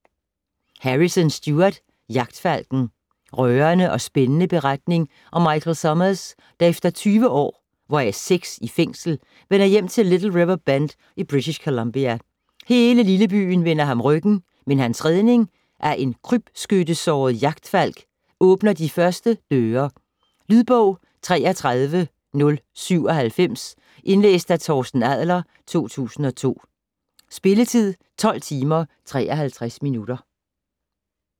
Harrison, Stuart: Jagtfalken Rørende og spændende beretning om Michael Somers, der efter tyve år hvoraf seks i fængsel, vender hjem til Little River Bend i British Columbia. Hele lillebyen vender ham ryggen, men hans redning af en krybskyttesåret jagtfalk åbner de første døre. Lydbog 33097 Indlæst af Torsten Adler, 2002. Spilletid: 12 timer, 53 minutter.